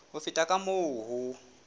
ho feta ka moo ho